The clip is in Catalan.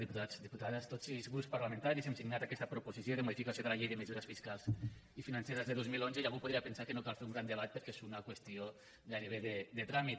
diputats diputades tots els grups parlamentaris hem signat aquesta proposició de modificació de la llei de mesures fiscals i financeres de dos mil onze i algú podria pensar que no cal fer un gran debat perquè és una qüestió gairebé de tràmit